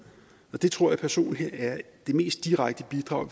det tror jeg personlig er det mest direkte bidrag